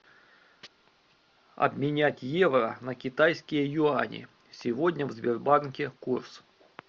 обменять евро на китайские юани сегодня в сбербанке курс